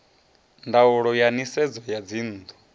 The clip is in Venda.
ndaulo ya nisedzo ya dzinnu